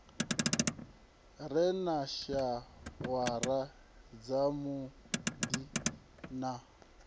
re na shawara dzavhuddi na